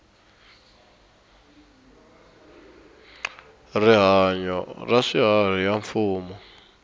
rihanyu ra swiharhi ya mfumo